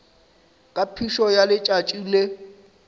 ka phišo ya letšatši le